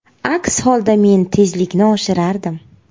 Aks holda men tezlikni oshirardim.